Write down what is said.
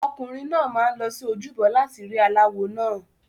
Ọkùnrin náà máa ń lọ sí ojúbọ láti rí aláwo náà.